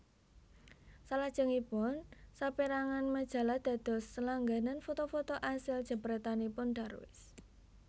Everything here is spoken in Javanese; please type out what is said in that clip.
Salajengipun saperangan majalah dados langganan foto foto asil jepretanipun Darwis